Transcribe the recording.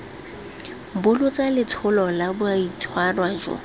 bolotsa letsholo la boitshwaro jo